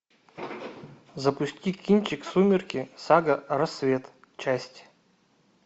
запусти кинчик сумерки сага рассвет часть